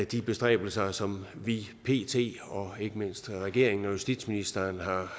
de bestræbelser som vi vi og ikke mindst regeringen og justitsministeren